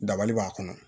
Dabali b'a kɔnɔ